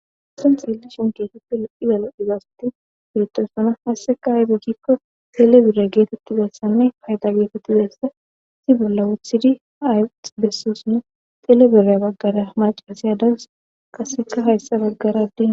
assen xeeli shinketufi lo ibalo izaasati beetossana hasseka aybi gikko xelebira geetetti beessanne payda geetetti beessa si bolla wuthidi ayx bessosinne telebirya baggara macirasaya dabus qaseka hayssa baggaradina